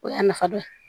O y'a nafa dɔ ye